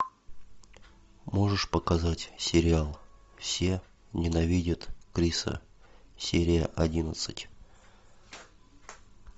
можешь показать сериал все ненавидят криса серия одиннадцать